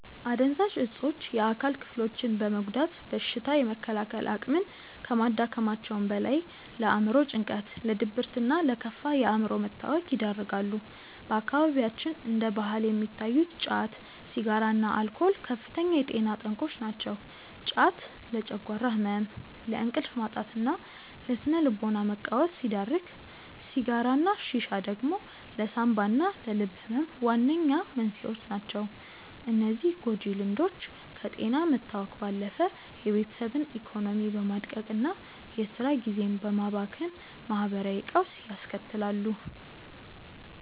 አደንዛዥ እፆች የአካል ክፍሎችን በመጉዳት በሽታ የመከላከል አቅምን ከማዳከማቸውም በላይ፣ ለአእምሮ ጭንቀት፣ ለድብርትና ለከፋ የአእምሮ መታወክ ይዳርጋሉ። በአካባቢያችን እንደ ባህል የሚታዩት ጫት፣ ሲጋራና አልኮል ከፍተኛ የጤና ጠንቆች ናቸው። ጫት ለጨጓራ ህመም፣ ለእንቅልፍ ማጣትና ለስነ-ልቦና መቃወስ ሲዳርግ፣ ሲጋራና ሺሻ ደግሞ ለሳንባና ለልብ ህመም ዋነኛ መንስኤዎች ናቸው። እነዚህ ጎጂ ልምዶች ከጤና መታወክ ባለፈ የቤተሰብን ኢኮኖሚ በማድቀቅና የስራ ጊዜን በማባከን ማህበራዊ ቀውስ ያስከትላሉ።